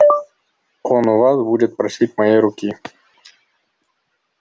он у вас будет просить моей руки